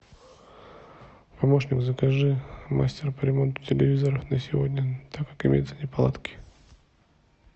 помощник закажи мастера по ремонту телевизора на сегодня так как имеются неполадки